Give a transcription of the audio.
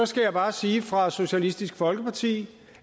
skal bare sige fra socialistisk folkeparti